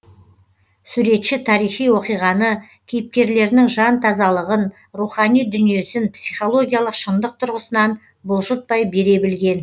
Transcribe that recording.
суретші тарихи оқиғаны кейіпкерлерінің жан тазалығын рухани дүниесін психологиялық шындық тұрғысынан бұлжытпай бере білген